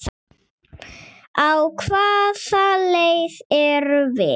Á hvaða leið erum við?